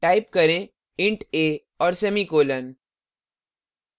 type करें int a और semicolon